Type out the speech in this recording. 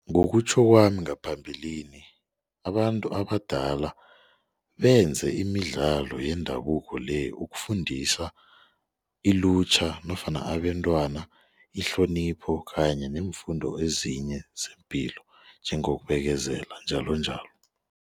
Ngokutjho kwami ngaphambilini abantu abadala benze imidlalo yendabuko le ukufundisa ilutjha nofana abentwana ihlonipho kanye neemfundo ezinye zepilo njengokubekezela njalonjalo.